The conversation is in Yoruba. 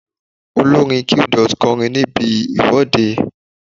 Olórin Qdot kọrin níbi ìwọ́de.